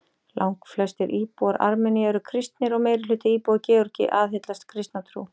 Langflestir íbúar Armeníu eru kristnir og meirihluti íbúa Georgíu aðhyllist kristna trú.